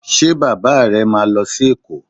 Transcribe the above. Ṣe Bàbá rẹ̀ máa lọ sí Èkó?